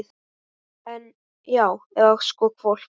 En. já, eða sko hvolp.